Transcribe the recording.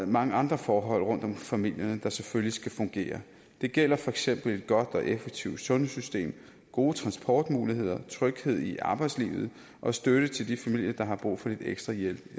mange andre forhold rundt om familierne der selvfølgelig skal fungere det gælder for eksempel et godt og effektivt sundhedssystem gode transportmuligheder tryghed i arbejdslivet og støtte til de familier der har brug for lidt ekstra hjælp